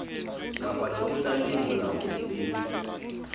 kapa lekgotla le molaong le